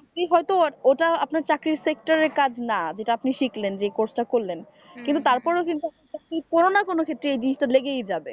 আপনি হয়তো ওটা আপনার চাকরির sector এর কাজ না যেটা আপনি শিখলেন যে course টা করলেন কিন্তু তারপরেও কিন্তু আপনার কোন না কোন ক্ষেত্রে এই জিনিসটা লেগেই যাবে